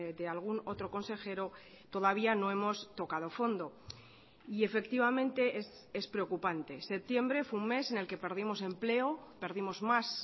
de algún otro consejero todavía no hemos tocado fondo y efectivamente es preocupante septiembre fue un mes en el que perdimos empleo perdimos más